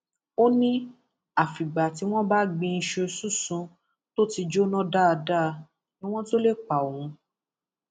ó ní àfìgbà tí wọn bá gbin iṣu sunsun tó ti jóná dáadáa ni wọn tóó lè pa òun